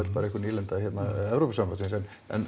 bara einhver nýlenda hérna Evrópusambandsins en